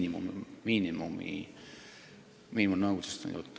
Jutt on miinimumkoosseisust.